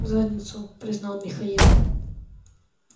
в задницу признал михаил